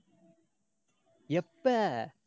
எப்ப?